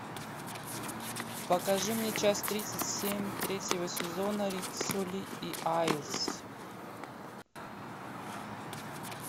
покажи мне часть тридцать семь третьего сезона риццоли и айлс